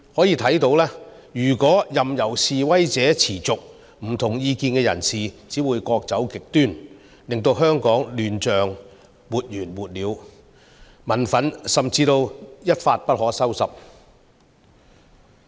由此可見，如果任由示威持續，不同意見的人士只會各走極端，令香港亂象沒完沒了，民憤甚至會一發不可收拾。